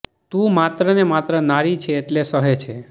તું માત્ર ને માત્ર નારી છે એટલે સહે છે